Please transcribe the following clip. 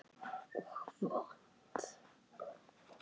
Og vont.